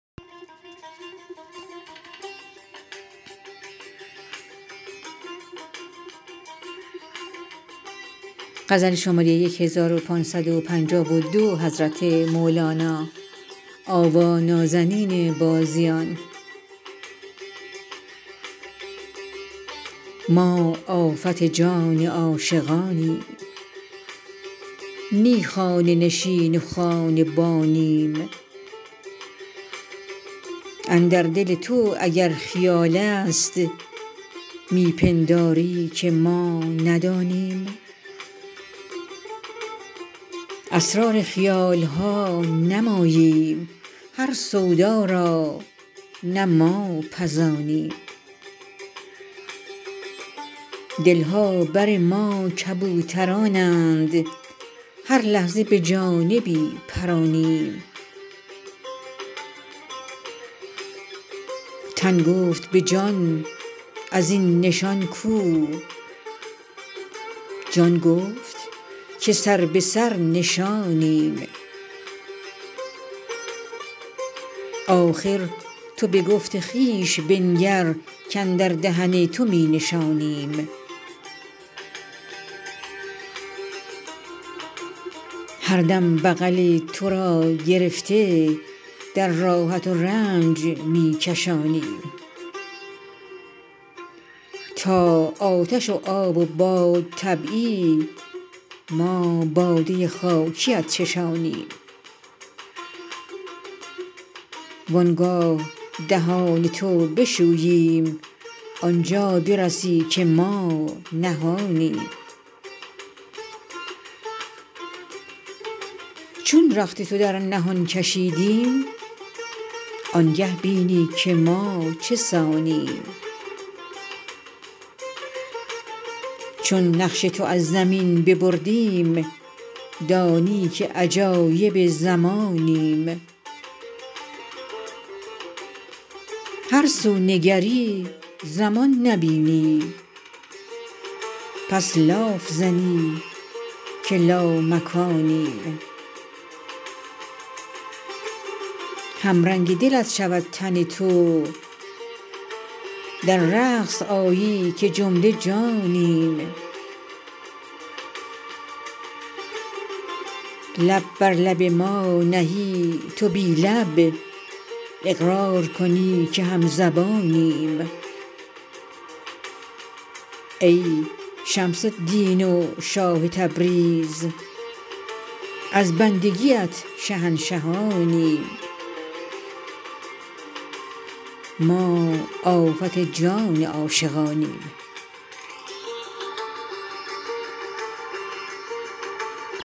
ما آفت جان عاشقانیم نی خانه نشین و خانه بانیم اندر دل تو اگر خیال است می پنداری که ما ندانیم اسرار خیال ها نه ماییم هر سودا را نه ما پزانیم دل ها بر ما کبوترانند هر لحظه به جانبی پرانیم تن گفت به جان از این نشان کو جان گفت که سر به سر نشانیم آخر تو به گفت خویش بنگر کاندر دهن تو می نشانیم هر دم بغل تو را گرفته در راحت و رنج می کشانیم تا آتش و آب و بادطبعی ما باده خاکیت چشانیم وان گاه دهان تو بشوییم آن جا برسی که ما نهانیم چون رخت تو در نهان کشیدیم آنگه بینی که ما چه سانیم چون نقش تو از زمین ببردیم دانی که عجایب زمانیم هر سو نگری زمان نبینی پس لاف زنی که لامکانیم همرنگ دلت شود تن تو در رقص آیی که جمله جانیم لب بر لب ما نهی تو بی لب اقرار کنی که همزبانیم ای شمس الدین و شاه تبریز از بندگیت شهنشهانیم